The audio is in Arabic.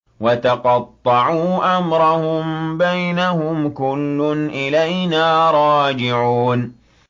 وَتَقَطَّعُوا أَمْرَهُم بَيْنَهُمْ ۖ كُلٌّ إِلَيْنَا رَاجِعُونَ